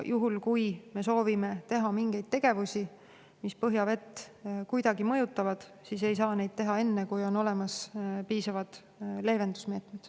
Juhul kui me soovime teha põhjavett kuidagi mõjutavaid tegevusi, siis ei saa neid teha enne, kui on olemas piisavad leevendusmeetmed.